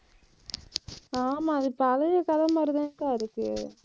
ஆமா, அது பழைய கதை மாதிரிதாங்கா இருக்கு.